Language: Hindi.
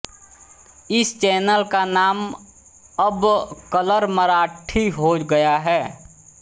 इस चैनल का नाम अब कलर मराठी हो गया है